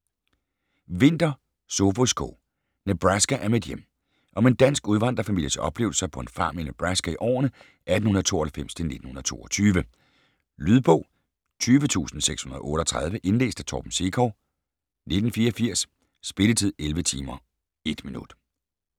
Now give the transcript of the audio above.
Winther, Sophus K.: Nebraska er mit hjem Om en dansk udvandrerfamilies oplevelser på en farm i Nebraska i årene 1898-1922. Lydbog 20638 Indlæst af Torben Sekov, 1984. Spilletid: 11 timer, 1 minutter.